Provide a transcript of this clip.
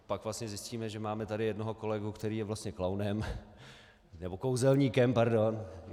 Pak vlastně zjistíme, že tady máme jednoho kolegu, který je vlastně klaunem nebo kouzelníkem, pardon.